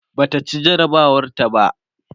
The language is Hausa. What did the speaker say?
Bata ci jarabawar ta ba